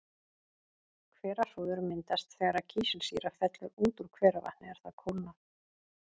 Hverahrúður myndast þegar kísilsýra fellur út úr hveravatni er það kólnar.